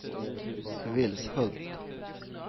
Vilshult